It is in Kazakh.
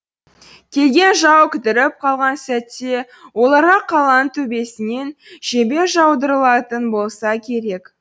келген жау кідіріп қалған сәтте оларға қаланың төбесінен жебе жаудырылатын болса керек